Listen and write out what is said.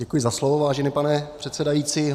Děkuji za slovo, vážený pane předsedající.